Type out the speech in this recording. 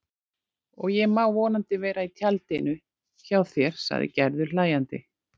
Og ég má vonandi vera í tjaldinu hjá þér sagði Gerður hlæjandi.